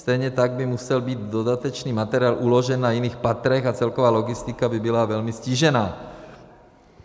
Stejně tak by musel být dodatečný materiál uložen na jiných patrech a celková logistika by byla velmi ztížena.